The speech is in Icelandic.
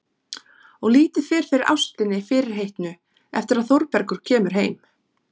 Og lítið fer fyrir ástinni fyrirheitnu eftir að Þórbergur kemur heim.